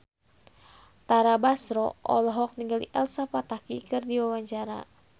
Tara Basro olohok ningali Elsa Pataky keur diwawancara